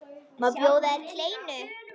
Má bjóða þér kleinu?